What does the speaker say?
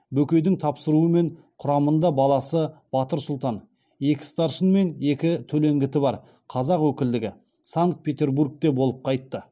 бөкейдің тапсыруымен құрамында баласы батыр сұлтан екі старшын мен екі төлеңгіті бар қазақ өкілдігі санкт петербургте болып қайтты